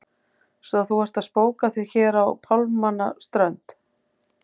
Svo að þú ert að spóka þig hér á pálmanna strönd!